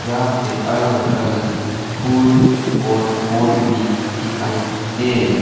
यहां पर अलग अलग फूल और पोट भी दिखाई दे रहे।